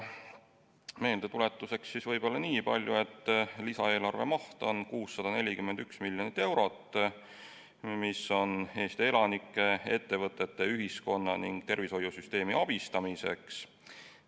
Meeldetuletuseks nii palju, et lisaeelarve maht on 641 miljonit eurot, mis on mõeldud Eesti elanike, ettevõtete, ühiskonna ning tervishoiusüsteemi abistamiseks.